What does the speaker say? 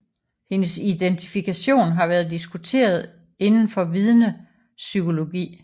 Hendes identifikation har været diskuteret indenfor vidnepsykologi